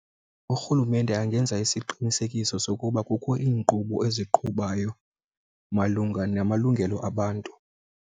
Urhulumente angenza isiqinisekiso sokuba kukho iInkqubo eziqhubayo malunga namalungelo abantu.